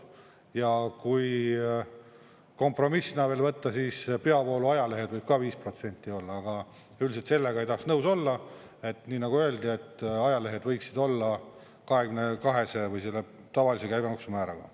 Ja kui kompromissina veel võtta, siis peavoolu ajalehed võivad ka 5% olla, aga üldiselt sellega ei tahaks nõus olla, et nii nagu öeldi, et ajalehed võiksid olla 22% või selle tavalise käibemaksu määraga.